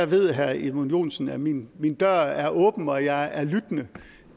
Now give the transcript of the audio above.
ved herre edmund joensen at min dør er åben og at jeg er lyttende